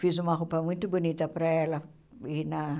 Fiz uma roupa muito bonita para ela ir na